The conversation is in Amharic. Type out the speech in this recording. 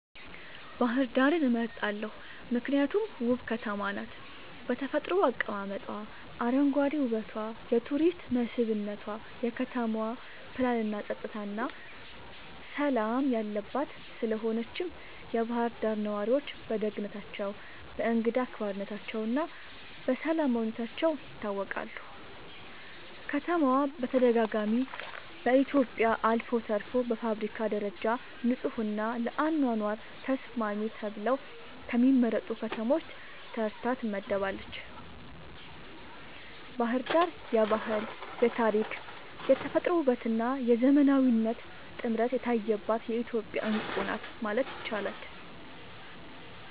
ባህር ዳርን እመርጣለሁ ምክንያቱም ውብ ከተማ ናት በተፈጥሮ አቀማመጧ, አረንጓዴ ዉበቷ የቱሪስት መስብነቷ, የከተማዋ ፕላንናፀጥታና ሠላም የለባት ስለሆነችም የባህር ዳር ነዋሪዎች በደግነታቸው፣ በእንግዳ አክባሪነታቸውና በሰላማዊነታቸው ይታወቃሉ። ከተማዋ በተደጋጋሚ በኢትዮጵያ አልፎ ተርፎም በአፍሪካ ደረጃ ንጹሕና ለአኗኗር ተስማሚ ተብለው ከሚመረጡ ከተሞች ተርታ ትመደባለች። ባሕር ዳር የባህል፣ የታሪክ፣ የተፈጥሮ ውበትና የዘመናዊነት ጥምረት የታየባት የኢትዮጵያ ዕንቁ ናት ማለት ይቻላል።